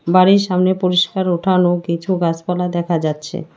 বাড়ির সামনে পরিষ্কার উঠান ও কিছু গাছপালা দেখা যাচ্ছে।